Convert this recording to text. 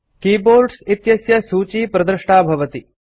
keyboards इत्यस्य सूची प्रदृष्टा भवति